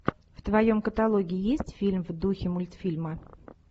в твоем каталоге есть фильм в духе мультфильма